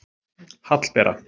Hallbera